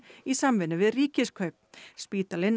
í samvinnu við Ríkiskaup spítalinn